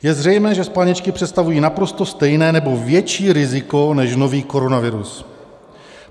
Je zřejmé, že spalničky představují naprosto stejné nebo větší riziko než nový koronavirus.